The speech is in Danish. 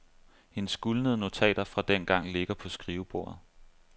Hendes gulnede notater fra dengang ligger på skrivebordet.